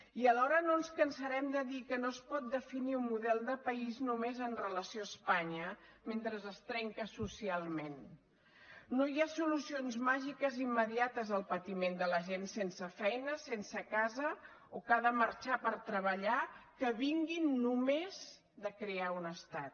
i alhora no ens cansarem de dir que no es pot definir un model de país només amb relació a espanya mentre es trenca socialment no hi ha solucions màgiques immediates al patiment de la gent sense feina sense casa o que ha de marxar per treballar que vinguin només de crear un estat